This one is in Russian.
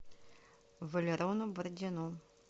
валерону бородину